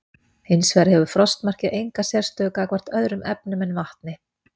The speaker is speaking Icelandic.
Hins vegar hefur frostmarkið enga sérstöðu gagnvart öðrum efnum en vatni.